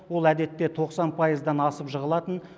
ол әдетте тоқсан пайыздан асып жығылатын